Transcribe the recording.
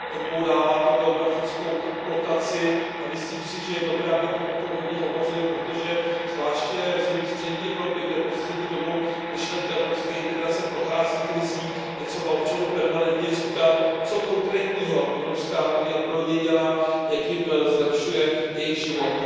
Odbourává to geografickou blokaci a myslím si, že je dobré, abychom o tom hodně hovořili, protože zvláště v zemích střední Evropy, kde poslední dobou myšlenka evropské integrace prochází krizí, je třeba občanům permanentně říkat, co konkrétního Evropská unie pro ně dělá, jak jim zlepšuje jejich život.